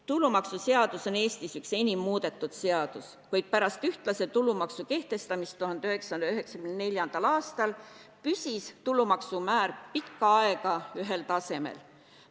Tulumaksuseadus on Eestis üks enim muudetud seadus, kuid pärast ühtlase tulumaksu kehtestamist 1994. aastal püsis maksumäär pikka aega ühel tasemel.